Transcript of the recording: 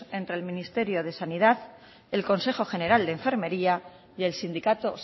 entre el ministerio de sanidad el consejo general de enfermería y el sindicato